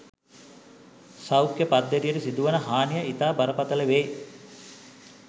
සෞඛ්‍ය පද්ධතියට සිදුවන හානිය ඉතා බරපතල වේ